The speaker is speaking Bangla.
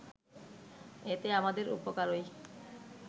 এতে আমাদের উপকারই